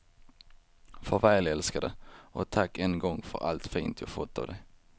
Farväl älskade och tack än en gång för allt fint jag fått av dig.